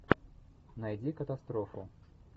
найди катастрофу